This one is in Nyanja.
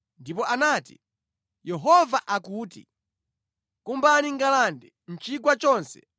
ndipo anati, “Yehova akuti, ‘Kumbani ngalande mʼchigwa chonse.’